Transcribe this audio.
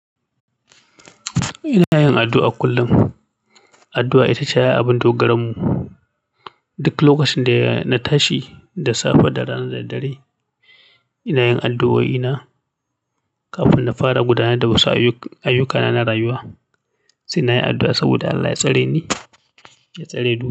Ina yin addu'a kullum. Addu'a ita ce ai abin dogaran mu. Duk lokacin da na tashi, da safe da rana da daddare, ina yin addu'o'ina kafin na fara gudanar da wasu ayyuk ayyukana na rayuwa. Tun nayi addu'a saboda allah ya tsareni ya tsare du.